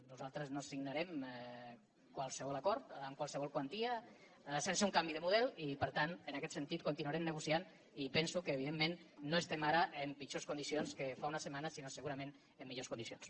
nosaltres no signarem qualsevol acord amb qualsevol quantia sense un canvi de model i per tant en aquest sentit continuarem negociant i penso que evidentment no estem ara en pitjors condicions que fa unes setmanes sinó segurament en millors condicions